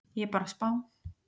Ég bara spá.